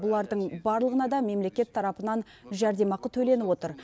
бұлардың барлығына да мемлекет тарапынан жәрдемақы төленіп отыр